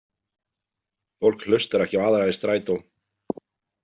Fólk hlustar ekki á aðra í strætó.